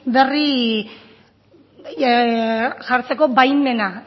berri jartzeko baimena